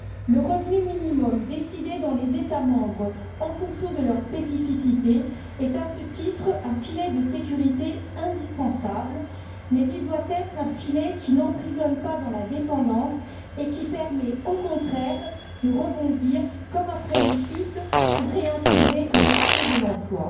Le revenu minimum décidé dans les États membres en fonction de leurs spécificités est, à ce titre, un filet de sécurité indispensable, mais il doit être un filet qui n'emprisonne pas dans la dépendance et qui permet, au contraire, de rebondir, comme après une chute, pour réintégrer le marché de l'emploi.